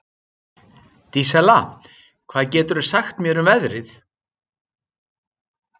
Dísella, hvað geturðu sagt mér um veðrið?